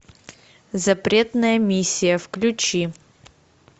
запретная миссия включи